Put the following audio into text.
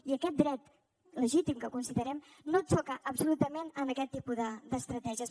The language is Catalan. i aquest dret legítim que considerem no xoca absolutament amb aquest tipus d’estratègies